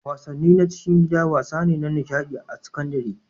wasanni na cikin gida wasa ne na nishaɗi a sakandare